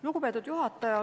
Lugupeetud juhataja!